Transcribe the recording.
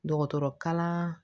Dɔgɔtɔrɔkalan